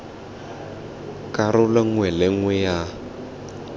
karolo nngwe le nngwe ya